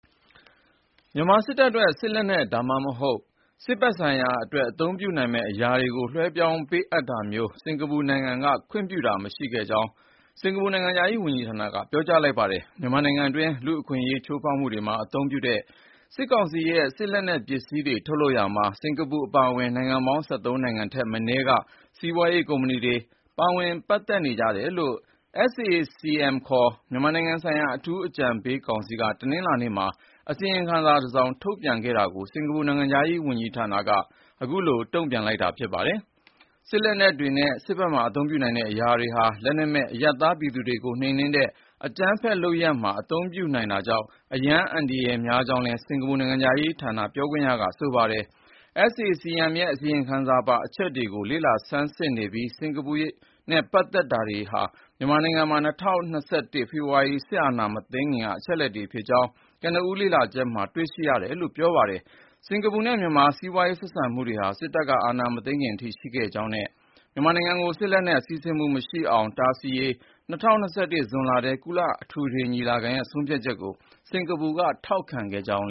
မြန်မာစစ်တပ်အတွက်စစ်လက်နက် ဒါမှမဟုတ် စစ်ဘက်ဆိုင်ရာအတွက် အသုံးပြုနိုင်မယ့်အရာတွေကို လွှဲပြောင်းပေးအပ်တာမျိုး စင်္ကာပူနိုင်ငံကခွင့်ပြုတာမရှိကြောင်း စင်္ကာပူနိုင်ငံခြားရေးဝန်ကြီးဌာနက ပြောလိုက်ပါတယ်။ မြန်မာနိုင်ငံတွင်း လူ့အခွင့်အရေးချိုးဖောက်မှုတွေမှာအသုံးပြုတဲ့ စစ်ကောင်စီရဲ့ စစ်လက်နက်ပစ္စည်းတွေ ထုတ်လုပ်ရာမှာ စင်္ကာပူအပါအဝင် နိုင်ငံပေါင်း ၁၃ နိုင်ငံထက်မနည်းက စီးပွားရေးကုမ္ပဏီတွေ ပါဝင်ပတ်သက်နေကြတယ်လို့ SAC-M ခေါ် မြန်မာနိုင်ငံဆိုင်ရာ အထူးအကြံပေးကောင်စီက တနင်္လာနေ့မှာ အစီရင်ခံစာတစောင် ထုတ်ပြန်ခဲ့တာကို စင်္ကာပူ နိုင်ငံခြားရေးဝန်ကြီးဌာနက အခုလို တုံ့ပြန်လိုက်တာ ဖြစ်ပါတယ်။ စစ်လက်နက်တွေနဲ့ စစ်ဖက်မှာအသုံးပြုနိုင်တဲ့အရာတွေဟာ လက်နက်မဲ့အရပ်သားပြည်သူတွေကို နှိမ်နင်းတဲ့ အကြမ်းဖက်လုပ်ရာမှာအသုံးပြုနိုင်တာကြောင့် အရမ်းအန္တရာယ်များကြောင်းလည်း စင်္ကာပူနိုင်ငံခြားရေးဌာနပြောခွင့်ရက ဆိုပါတယ်။ SAC-M ရဲ့အစီရင်ခံစာပါ အချက်အလက်တွေကို လေ့လာဆန်းစစ်နေပြီး၊ စင်္ကာပူနဲ့ ပတ်သက်တာတွေဟာ မြန်မာနိုင်ငံမှာ ၂၀၂၁ ခုနှစ် ဖေဖော်ဝါရီလ စစ်အာဏာမသိမ်းခင်က အချက်အလက်တွေဖြစ်ကြောင်း ကနဦးလေ့လာချက်မှာ တွေ့ရတယ်လို့လာည်း ပြောပါတယ်။ စင်္ကာပူနဲ့ မြန်မာစီးပွားရေးဆက်ဆံမှုတွေဟာ စစ်တပ်ကအာဏာမသိမ်းခင်အချိန်ထိရှိခဲ့ကြောင်း မြန်မာနိုင်ငံထဲကို စစ်လက်နက်စီးဆင်းမှုမရှိအောင်တားဆီးရေး ၂၀၂၁ ဇွန်လထဲ ကုလသမဂ္ဂ အထွေထွေညီလာခဲ့ရဲ့ဆုံးဖြတ်ချက်ကို စင်္ကာပူနိုင်ငံက မဲပေးထောက်ခံခဲ့ကြောင်း